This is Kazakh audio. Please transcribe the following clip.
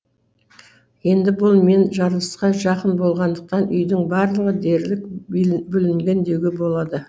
енді бұл мен жарылысқа жақын болғандықтан үйдің барлығы дерлік бүлінген деуге болады